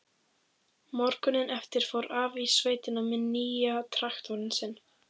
Morguninn eftir fór afi í sveitina með nýja traktorinn sinn.